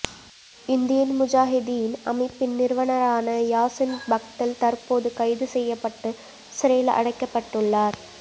Indian Mujahideen அமைப்பின் நிறுவனரான யாசின் பத்கல் தற்போது கைது செய்யப்பட்டு சிறையில் அடைக்கப்பட்டுள்ளார்